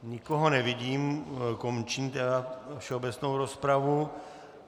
Nikoho nevidím, končím tedy všeobecnou rozpravu.